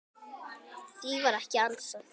Því var ekki ansað.